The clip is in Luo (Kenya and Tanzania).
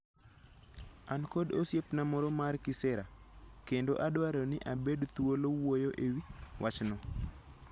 An kod osiepna moro mar kisera, kendo adwaro ni abed thuolo wuoyo e wi wachno.